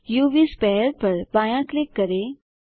उव स्फीयर पर बायाँ क्लिक करें